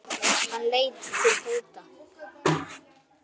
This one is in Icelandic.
Hann leit til Tóta.